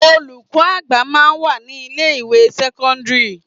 Olùkọ́ àgbà máa ń wà ní ilé ìwé sẹ́kọ́ńdírì.